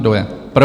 Kdo je pro?